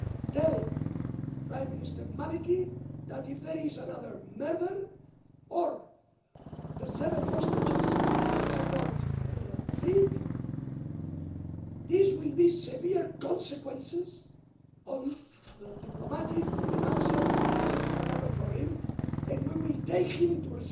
Tell Prime Minister Maliki that, if there is another murder or the seven hostages are not freed, this will have severe consequences at a diplomatic, financial and political level for him and we will take him to